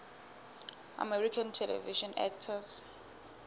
american television actors